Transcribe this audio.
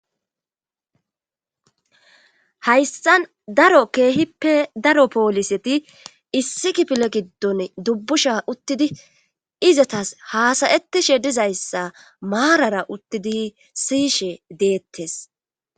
hayssan daro keehippe daro pooliseti issi kifile giddon dubbusha uttidi izatas haasayettishe dizayssa maarara uttidi siyishe deettes